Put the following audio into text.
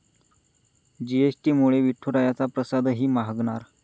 जीएसटीमुळे विठुरायाचा प्रसादही महागणार